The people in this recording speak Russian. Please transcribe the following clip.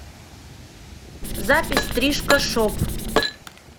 запись стрижка шоп